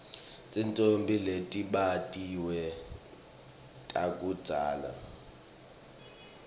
titfombe letibatiwe takudzala